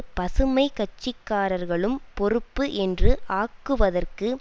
பசுமை கட்சிக்காரர்களும் பொறுப்பு என்று ஆக்குவதற்கு